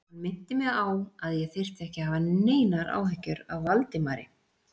Hann minnti mig á, að ég þyrfti ekki að hafa neinar áhyggjur af Valdimari